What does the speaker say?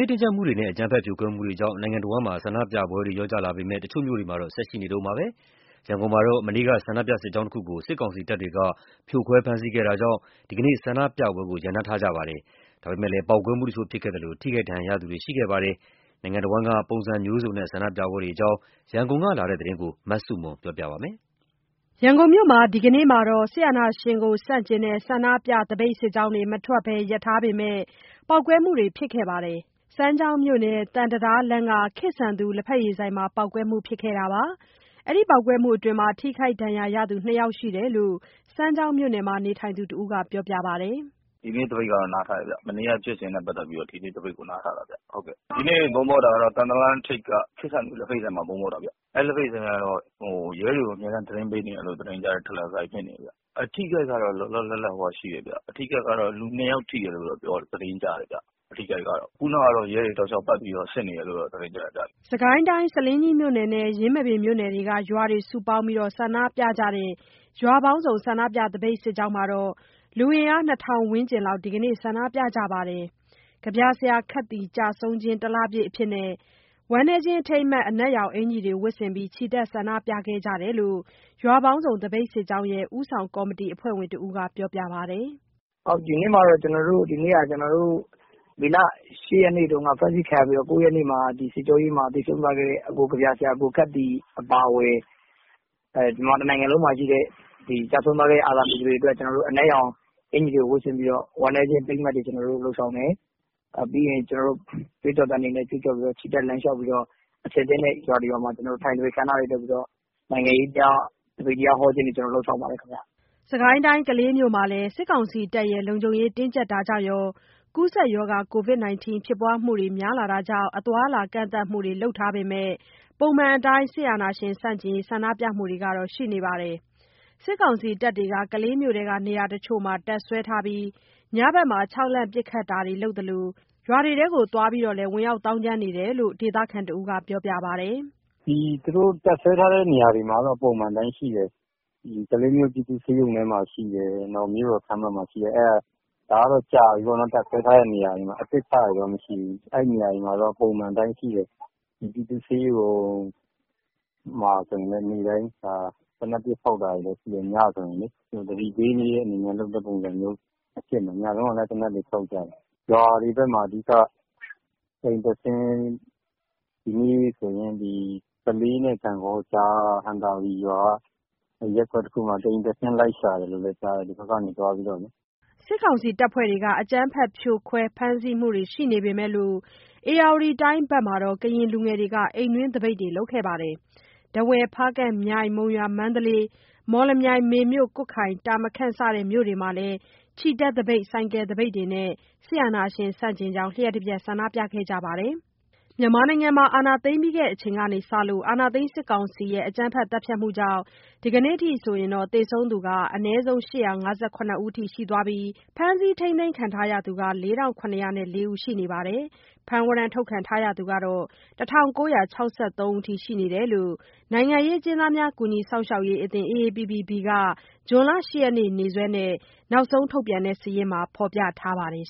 ေးတင်းကြပ်မှုတွေနဲ့ အကြမ်းဖက်ဖြိုခွဲမှုတွေကြောင့် နိုင်ငံတဝှမ်းဆန္ဒပြမှုတွေ လျော့ကျလာပေမယ့်၊ တချို့မြို့တွေမှာတော့ ဆန္ဒပြပွဲတွေ ရှိနေဆဲပါ။ ရန်ကုန်မှာတော့ မနေ့က ဆန္ဒပြ စစ်ကြောင်းတစ်ခုကို စစ်ကောင်စီတပ်တွေက ဖြိုခွဲဖမ်းဆီးမှုတွေ ရှိခဲ့တာကြောင့် ဒီကနေ့ ဆန္ဒပြမှုကို ရပ်နားထားကြပေမယ့် ပေါက်ကွဲမှုတစ်ချို့ ဖြစ်ခဲ့ပြီး ထိခိုက်ဒဏ်ရာရသူတွေ ရှိခဲ့ပါတယ်။ နိုင်ငံတစ်ဝန်းက ပုံစံမျိုးစုံနဲ့ ဆန္ဒပြပွဲတွေအကြောင်း ရန်ကုန်က လာတဲ့ သတင်းကို မဆုမွန် ပြောပြပါမယ်။ ရန်ကုန်မှာ ဒီနေ့ ဆန္ဒပြစစ်ကြောင်းတွေ မထွက်ပဲ ရပ်ထားပေမယ့် ပေါက်ကွဲမှုတွေ ဖြစ်ခဲ့ပါတယ်။ စမ်းချောင်းမြို့နယ် သံတံတားလမ်းက ခေတ်ဆန်သူ လက်ဖက်ရည်ဆိုင်မှာ ပေါက်ကွဲမှုဖြစ်ခဲ့ပြီး ထိခိုက်ဒဏ်ရာရသူ နှစ်ယောက်ရှိတယ်လို့ စမ်းချောင်းမြို့နယ်မှာ နေထိုင်သူတစ်ဦးက ပြောပါတယ်။ “ဒီနေ့ သပိတ်ကတော့ နားထားတယ်ဗျ။ မနေ့က ဖြစ်စဉ်တွေကြောင့် ဒီနေ့ သပိတ်ကိုနားထားတာပါဗျ။ ဒီနေ့ ဗုံးပေါက်တာကတော့ သံတံတားလမ်းထိပ်က ခေတ်ဆန်သူ လက်ဖက်ရည်ဆိုင်မှာ ဗုံးပေါက်တာဗျ။ အဲ့ဒီဆိုင်ကတော့ ရဲတွေကို အမြဲတမ်း သတင်းပေးနေတယ်လို့ သတင်းကြားတဲ့ ဒလန်ဆိုင် ဖြစ်နေတယ်ဗျ။ အထိအခိုက်ကတော့ လောလောလတ်လတ် ၂ ယောက်ရှိတယ်လို့တော့ သတင်းကြားတယ်ဗျ။ ခုဏကတော့ ရဲတွေ ပတ်ပြီးတော့ လမ်းတွေပိတ်ပြီး ရှင်းနေတယ်လို့တော့ ကြားတယ်ဗျ။” စစ်ကိုင်းတိုင်း ဆားလင်းကြီးမြို့နယ်နဲ့ ယင်းမာပင်မြို့နယ်တွေက ရွာတွေ စုပေါင်းပြီး ဆန္ဒပြကြတဲ့ ရွာပေါင်းစုံ ဆန္ဒပြစစ်ကြောင်းက အင်အား၂၀၀၀ ဝန်းကျင်နဲ့ ဒီကနေ့ ဆန္ဒပြကြပါတယ်။ ကဗျာဆရာ ခက်သီ ကျဆုံးခြင်း တစ်လပြည့်အဖြစ် အနက်ရောင်အကျီ်တွေ ဝတ်ဆင်ပြီး ချီတက် ဆန္ဒပြခဲ့ကြတယ်လို့ ရွာပေါင်းစုံ သပိတ်စစ်ကြောင်းရဲ့ ဦးဆောင်ကော်မတီအဖွဲ့ဝင် တစ်ဦးကပြောပါတယ်။ “ဒီနေ့မှာ ကျွန်တော်တို့က မေလ ၈ ရက်နေ့မှာ ဖမ်းဆီးခံရပြီးတော့ ၉ ရက်နေ့မှာ သေဆုံးသွားခဲ့တဲ့ ကဗျာဆရာ ကိုခက်သီ အပါအဝင် မြန်မာတစ်နိုင်ငံလုံးမှာရှိတဲ့ ကျဆုံးသွားတဲ့ အာဇာနည်တွေအတွက် အနက်ရောင် အကျီ်တွေ ဝတ်ဆင်ပြီးတော့ ဝမ်းနည်းခြင်း အထိမ်းအမှတ်တွေ ကျွန်တော်တို့ လုပ်ဆောင်တယ်။ ပြီးရင် ကျွန်တော်တို့ ကြွေးကြော်သံတွေ ကြွေးကြော်ပြီး ချီတက် လမ်းလျှောက်ပြီး တော့ ရွာတစ်ရွာမှာ ထိုင်သပိတ်အခမ်းအနားလေးလုပ်ပြီးတော့ နိုင်ငံရေးအကြောင်း သပိတ်တရား ဟောတာတွေ လုပ်ခဲ့ကြပါတယ်ဗျ။” စစ်ကိုင်းတိုင်း ကလေးမြို့မှာလည်း စစ်ကောင်စီတပ်တွေရဲ့ လုံခြုံရေးတင်းကြပ်တာတွေ၊ ကိုဗစ်ရောဂါ ဖြစ်ပွားမှုများလာတာတွေကြောင့် အသွားအလာကန့်သတ်မှုတွေ လုပ်ထားပေမယ့် ပုံမှန်အတိုင်းဆန္ဒပြ ပွဲတွေ ရှိနေပါတယ်။ စစ်ကောင်စီတပ်တွေက ကလေးမြို့တွင်းက နေရာတစ်ချို့မှာ တပ်စွဲထားပြီး ညဖက်မှာ ခြောက်လှန့်ပစ်ခတ်မှုတွေ လုပ်သလို ရွာတွေကိုသွားပြီး ဝင်ရောက်သောင်ကြမ်းတာတွေ လုပ်နေတယ်လို့ ဒေသခံတစ်ဦးက ပြောပါတယ်။ “သူတို့ တပ်စွဲထားတဲ့နေရာတွေမှာတော့ ပုံမှန်အတိုင်းရှိတယ်။ ကလေးမြို့ပြည်သူ့ဆေးရုံမှာရှိတယ်၊ မြို့တော်ခန်းမမှာရှိတယ်။ ဒါကတော့ ကြာပြီပေါ့နှော် တပ်စွဲထားတာ ခုမှာရောက်လာတာတော့မရှိ ဘူး။ အဲ့ဒီနေရာတွေမှာတော့ ပုံမှန်အတိုင်းရှိတယ်။ ပြည်သူ့ဆေးရုံမှာဆိုရင် သေနတ်ပစ်ဖောက်တာတွေ လည်းရှိတယ်။ ညဆိုရင်လေ။ သတိပေးတဲ့ ပုံစံမျိုးလုပ်တာဖြစ်မယ်။ ညတုန်းကလည်း အဲ့လိုဖောက် တယ်။ ရွာတွေဖက်မှာ အဓိက တစ်အိမ်တက်ဆင်း၊ ဒီနေ့ဆိုရင် ကလေးနဲ့ ဂန့်ဂေါကြားက ဟံသာဝတီရွာက ရပ်ကွက်တစ်ခုမှာ တစ်အိမ်တက်ဆင်းလိုက်ရှာတယ်လို့လည်းကြားတယ်။ ဒီဖက်ကသွားပြီးတော့။” စစ်ကောင်စီက အကြမ်းဖက် ဖြို့ခွဲ ဖမ်းဆီးမှုတွေ ရှိနေပေမယ့် ဧရာဝတီတိုင်းက ကရင်လူငယ်တွေက အိမ်တွင်းသပိတ်လုပ်ခဲ့ကြပါတယ်။ ထားဝယ်၊ ဖားကန့်၊ မြိုင်၊ မုံရွာ၊ မန္တလေး၊ မော်လမြိုင်၊ မေမြို့၊ ကွတ်ခိုင်၊ တာမခန့် စတဲ့ မြို့တွေမှာလည်း ချီတက်သပိတ်၊ ဆိုင်ကယ်သပိတ် စသဖြင့် လျှပ်တပြတ် ဆန္ဒပြခဲ့ကြပါတယ်။ မြန်မာနိုင်ငံမှာ အာဏာသိမ်းစစ်ကောင်စီရဲ့ အကြမ်းဖက် သတ်ဖြတ်မှုကြောင့် ကနေ့အထိ သေဆုံးသူ ၈၅၇ ဦး၊ ဖမ်းဆီး ထိန်းသိမ်းခံထားရသူ ၄၇၀၄ ဦးနဲ့ ဖမ်းဝရမ်း ထုတ်ခံထားရသူ ၁၉၆၃ ဦးရှိကြောင်း နိုင်ငံရေးအကျဉ်းသားများ ကူညီစောင့်ရှောက်ရေးအသင်း AAPP-B က ဇွန်လ ၈ ရက်နေ့ ရက်စွဲနဲ့ နောက်ဆုံးထုတ်ပြန်ထားတဲ့ စာရင်းမှာ ဖော်ပြထားပါတယ်